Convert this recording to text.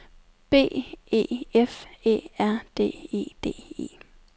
B E F Æ R D E D E